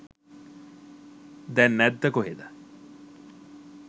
දැන් නැද්ද කොහෙද